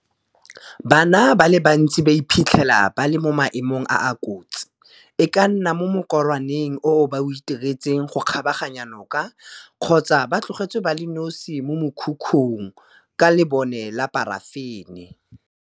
Bana ba le bantsi ba iphitlhela ba le mo maemong a a kotsi, e ka nna mo mokorwaneng oo ba o itiretseng go kgabaganya noka kgotsa ba tlogetswe ba le nosi mo mokhukhung ka lebone la parafene.